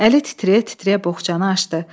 Əli titrəyə-titrəyə boğçanı açdı.